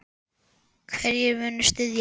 Hverjir munu styðja mig?